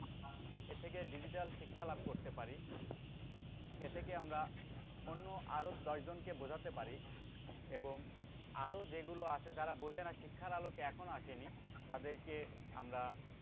এ থেকে digital শিক্ষা লাভ করতে পারি এথেকে আমরা অন্য আরো দশজনক বোঝাতে পারি এবং আরো যেগুলো আছে যারা বুঝে না শিক্ষার আলোকে এখনো আসেনি তাদেরকে আমরা